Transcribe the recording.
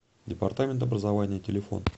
департамент образования телефон